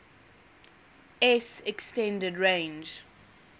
s extended range